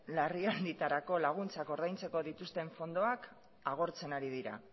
larrialdietarako laguntzak ordaintzeko dituzten fondoak agortzen ari dira